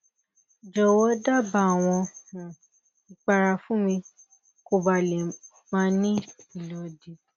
jowo daba awon ipara fun mi koba le ma ni ilodi